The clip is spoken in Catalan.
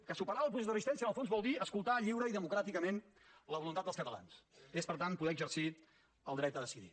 que superar el procés de resistència en el fons vol dir escoltar lliure i democràticament la voluntat dels catalans és per tant poder exercir el dret a decidir